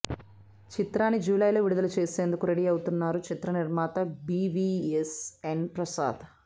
చిత్రాన్ని జూలై లో విడుదల చేసేందుకు రెడీ అవుతున్నారు చిత్ర నిర్మాత B V S N Prasad